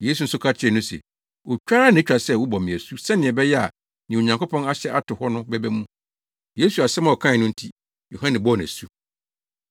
Yesu nso ka kyerɛɛ no se, “Otwa ara na etwa sɛ wobɔ me asu sɛnea ɛbɛyɛ a nea Onyankopɔn ahyɛ ato hɔ no bɛba mu.” Yesu asɛm a ɔkae no nti, Yohane bɔɔ no asu.